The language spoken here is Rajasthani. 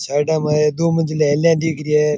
साइडाँ में दो मंजिल हेली दिख रि है।